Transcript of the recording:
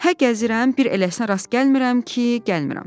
Hə gəzirəm, bir eləsinə rast gəlmirəm ki, gəlmirəm.”